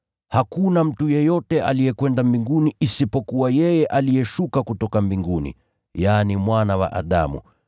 Hakuna mtu yeyote aliyekwenda mbinguni isipokuwa yeye aliyeshuka kutoka mbinguni, yaani, Mwana wa Adamu.